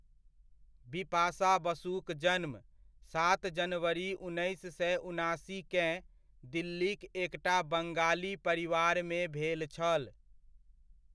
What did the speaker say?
बिपाशा बसुक जन्म, सात जनवरी उन्नैस सए उनासीकेँ, दिल्लीक एकटा बंगाली परिवारमे भेल छल।